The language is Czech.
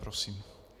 Prosím.